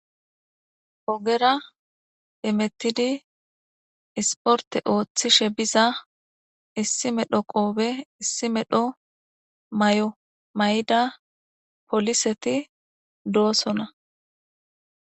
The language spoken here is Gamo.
ogera emettidi isporte ooththishe biza issi medho qoobe issi medho may'o may'da poliseti doosona